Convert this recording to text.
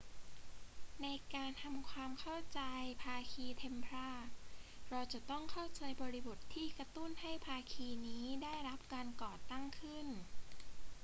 ในการทำความเข้าใจภาคีเทมพลาร์ เราจะต้องเข้าใจบริบทที่กระตุ้นให้ภาคีนี้ได้รับการก่อตั้งขึ้น